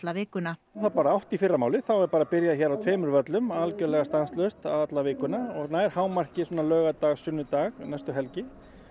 vikuna það er bara átta í fyrramálið þá er bara byrjað hér á tveimur völlum algjörlega stanslaust alla vikuna og nær hámarki svona laugardag sunnudag næstu helgi